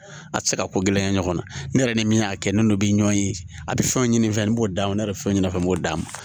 A tɛ se ka ko gɛlɛya ɲɔgɔnna ne yɛrɛ ni min y'a kɛ n'o bi ɲɔn ye a bɛ fɛn ɲini n'o d'a ma ne bɛ fɛn ɲini a fɛ n b'o d'a ma